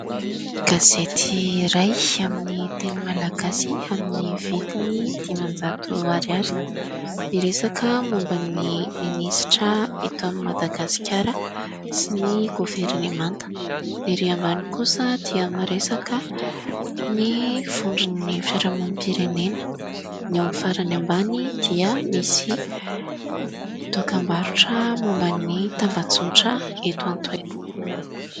Gazety iray amin'ny teny malagasy, amin'ny vidiny dimanjato ariary, miresaka momba ny minisitra eto Madagaskara sy ny governemanta. Ny ery ambany kosa dia miresaka ny vondron'ny fiarahamonim-pirenena. Ny ao amin'ny farany ambany dia misy dokam-barotra momba ny tambajotra eto an-toerana.